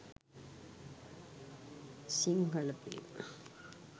sinhala film